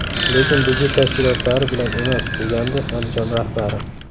Lekin budjet tashkilotlari bilan emas”, degandi Andijon rahbari.